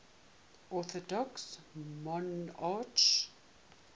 orthodox monarchs